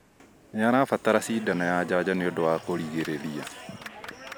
Nĩarabatara cindano ya njanjo nĩũndũ wa kũrigĩrĩria